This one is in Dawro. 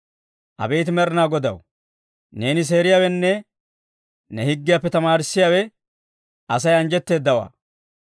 Abeet Med'inaa Godaw, neeni seeriyaawenne ne higgiyaappe tamaarissiyaa Asay anjjetteedawaa.